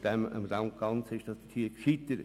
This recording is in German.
Daran scheiterte das gesamte Vorhaben.